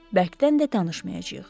Bərkdən də tanışmayacağıq.